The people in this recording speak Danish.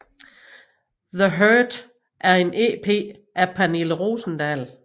The Hurt er en EP af Pernille Rosendahl